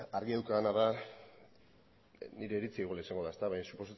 argi daukadana da nire iritzia igual izango da baina suposatzen dut